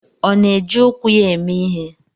Ọ na-eji ụkwụ ya eme ihe?